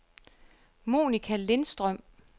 Monica Lindstrøm